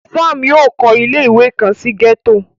Sam yóò kọ ile-iwe kan si gẹto